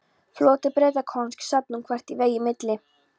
Floti Bretakonungs sat nú þvert í vegi milli